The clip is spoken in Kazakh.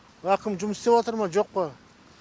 әкім жұмыс істеватыр ма жоқ па